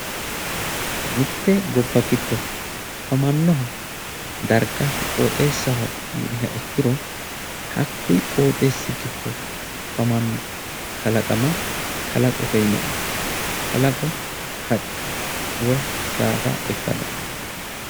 Mitte gobba giddo afamannoha darga qoxeessaho yiniha ikkiro hakkuyi qoxeessi giddo afamanno kalaqama kalaqote yineemmo kalaqo haqqe woye saada ikka dandiitanno